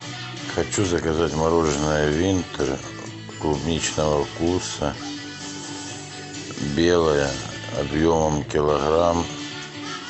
хочу заказать мороженое винтер клубничного вкуса белое объемом килограмм